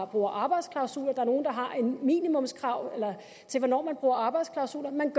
bruger arbejdsklausuler er nogle der har minimumskrav til hvornår man bruger arbejdsklausuler man